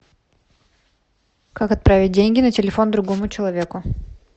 как отправить деньги на телефон другому человеку